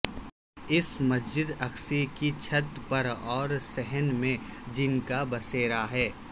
اس مسجد اقصی کی چھت پر اور صحن میں جن کا بسیرا ہے